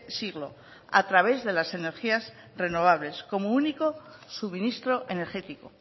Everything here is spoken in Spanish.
siglo a través de las energías renovables como único suministro energético